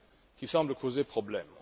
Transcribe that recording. qui semble poser problème.